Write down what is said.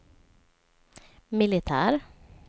militär